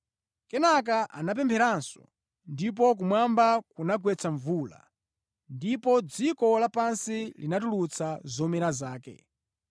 Kenaka anapempheranso, ndipo kumwamba kunagwetsa mvula, ndipo dziko lapansi linatulutsa zomera zake.